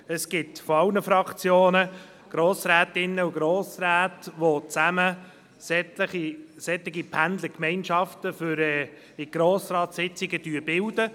Es gibt in allen Fraktionen Grossrätinnen und Grossräte, welche solche Pendlergemeinschaften für die Fahrt zu Grossratssitzungen bilden.